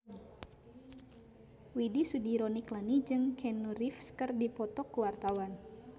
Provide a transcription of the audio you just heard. Widy Soediro Nichlany jeung Keanu Reeves keur dipoto ku wartawan